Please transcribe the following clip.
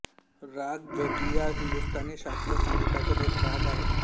राग जोगिया हिंंदुस्तानी शास्रीय संंगीतातील एक राग आहे